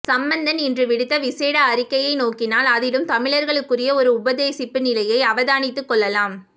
சம்பந்தன் இன்று விடுத்த விசேட அறிக்கையை நோக்கினால் அதிலும் தமிழர்களுக்குரிய ஒரு உபதேசிப்பு நிலையை அவதானித்துக்கொள்ளலாம்